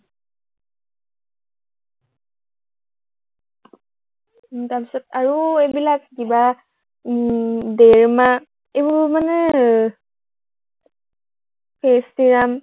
উম তাৰপিছত আৰু এইবিলাক কিবা উম ড্ৰেৰিমা এইবোৰ মানে face serum